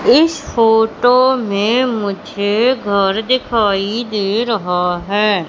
इस फोटो में मुझे घर दिखाई दे रहा है।